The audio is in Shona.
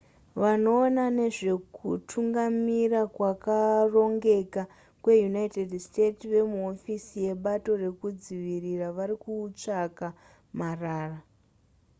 vanoona nezvekutungamira kwakarongeka kweunited states vemuhofisi yebato rekudzivirira varikutsvaka marara